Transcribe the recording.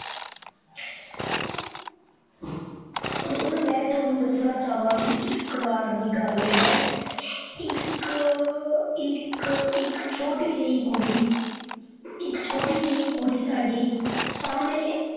ਹੁਣ ਮੈ ਤੁਹਾਨੂੰ ਦੱਸਣਾ ਚਾਵਾਂਗੀ, ਇੱਕ ਬਾਰ ਦੀ ਗੱਲ ਹੈ ਇਕਕ ਇੱਕ ਇੱਕ ਛੋਟੀ ਜੇਹੀ ਕੁੜੀ ਇੱਕ ਛੋਟੀ ਜੇਹੀ ਕੁੜੀ ਸਾਡੇ ਸਾਮਣੇ